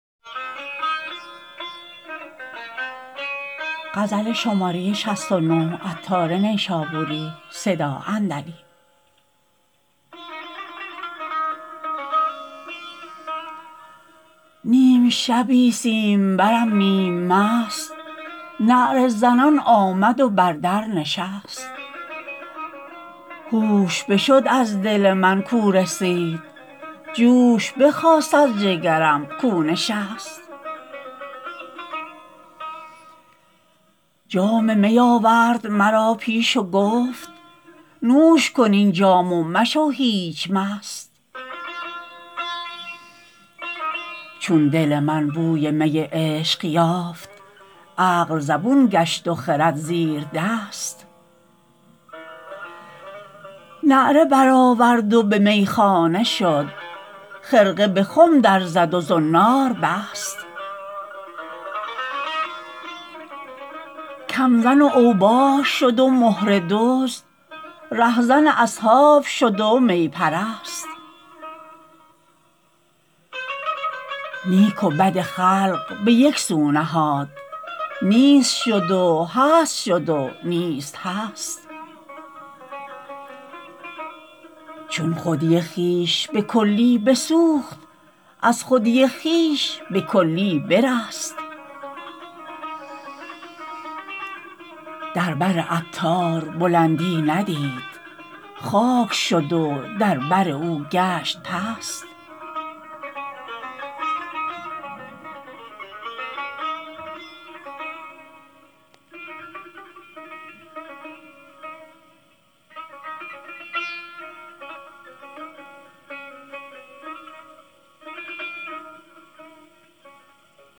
نیم شبی سیم برم نیم مست نعره زنان آمد و در در نشست هوش بشد از دل من کاو رسید جوش بخاست از جگرم کاو نشست جام می آورد مرا پیش و گفت نوش کن این جام و مشو هیچ مست چون دل من بوی می عشق یافت عقل زبون گشت و خرد زیر دست نعره برآورد و به میخانه شد خرقه به خم در زد و زنار بست کم زن و اوباش شد و مهره دزد ره زن اصحاب شد و می پرست نیک و بد خلق به یکسو نهاد نیست شد و هست شد و نیست هست چون خودی خویش به کلی بسوخت از خودی خویش به کلی برست در بر عطار بلندی ندید خاک شد و در بر او گشت پست